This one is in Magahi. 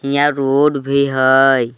हियाँ रोड भी हई।